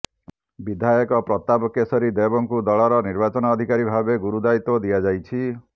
ବିଧାୟକ ପ୍ରତାପ କେଶରୀ ଦେବଙ୍କୁ ଦଳର ନିର୍ବାଚନ ଅଧିକାରୀ ଭାବେ ଗୁରୁ ଦାୟିତ୍ୱ ଦିଆଯାଇଛି